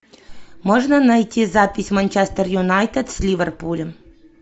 можно найти запись манчестер юнайтед с ливерпулем